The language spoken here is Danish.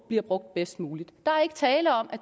bliver brugt bedst muligt der er ikke tale om at